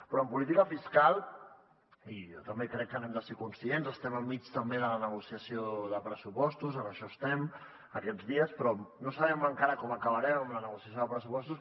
però en política fiscal i jo també crec que n’hem de ser conscients estem enmig també de la negociació de pressupostos en això estem aquests dies no sabem encara com acabarem amb la negociació de pressupostos